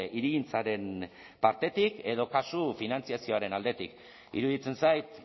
hirigintzaren partetik edo kasu finantzazioaren aldetik iruditzen zait